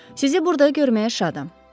Sizi burda görməyə şadam.